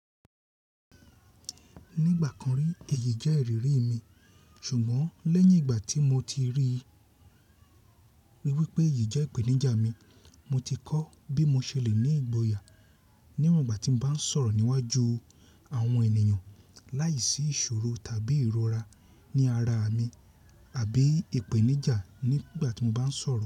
Nígbà kan rí èyí jẹ́ ìrírí mi, ṣùgbọ́n lẹ́yìn ìgbà tí mo ti rí i wípé èyí jẹ́ ìpèníjà mi, mo ti kọ́ bí mo ṣe lè ní ìgboyà níwọ̀n ìgbà tí mo bá ń sọ̀rọ̀ níwájú àwọn ènìyàn láìsí ìṣòro tàbí ìrora ní ara mi àbí ìpèníjà nígbà tí mo bá ń sọ̀rọ̀